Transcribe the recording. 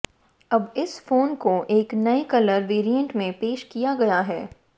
अब इस फोन को एक नए कलर वेरिएंट में पेश किया गया है